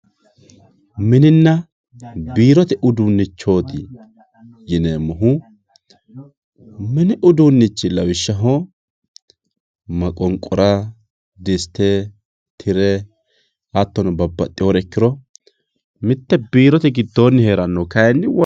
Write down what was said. mininna biirote uduunnichooti yineemmohu mini uduunnichi lawishshaho maqonqora diste tire hattono babbaxxewoore ikkiro mitte biirote giddoonni heerannoha kayni.